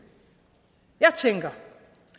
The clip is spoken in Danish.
jeg tænker